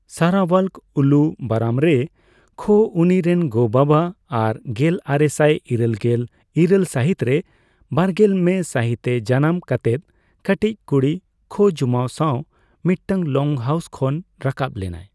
ᱥᱟᱨᱟᱚᱣᱟᱞᱠ ᱩᱞᱩ ᱵᱟᱨᱟᱢᱨᱮ ᱠᱷᱳ ᱩᱱᱤ ᱨᱮᱱ ᱜᱚᱜᱚᱼᱵᱟᱵᱟ ᱟᱨ ᱜᱮᱞᱟᱨᱮᱥᱟᱭ ᱤᱨᱟᱹᱞᱜᱮᱞ ᱤᱨᱟᱹᱞ ᱥᱟᱹᱦᱤᱛ ᱨᱮ ᱵᱟᱨᱜᱮᱞ ᱢᱮ ᱢᱟᱹᱦᱤᱛ ᱮ ᱡᱟᱱᱟᱢ ᱠᱟᱛᱮᱫ ᱠᱟᱹᱴᱤᱡ ᱠᱩᱲᱤ ᱠᱷᱳ ᱡᱩᱢᱟᱭ ᱥᱟᱸᱣ ᱢᱤᱫᱴᱟᱝ ᱞᱚᱝᱦᱟᱣᱩᱥ ᱠᱷᱚᱱ ᱨᱟᱠᱟᱵ ᱞᱮᱱᱟᱭ ᱾